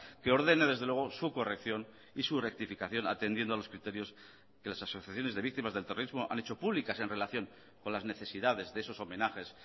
que ordene desde luego su corrección y su rectificación atendiendo a los criterios que las asociaciones de víctimas del terrorismo han hecho públicas en relación con las necesidades de esos homenajes